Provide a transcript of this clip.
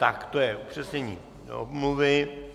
Tak to je přečtení omluvy.